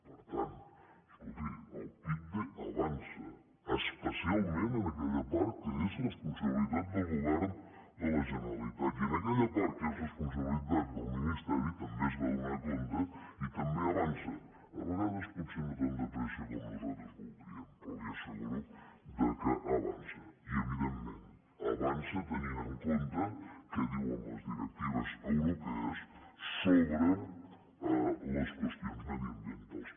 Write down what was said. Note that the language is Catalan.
per tant escolti el pipde avança especialment en aquella part que és responsabilitat del govern de la generalitat i en aquella part que és responsabilitat del ministeri també es va donar compte i també avança a vegades potser no tan de pressa com nosaltres voldríem però li asseguro que avança i evidentment avança tenint en compte què diuen les directives europees sobre les qüestions mediambientals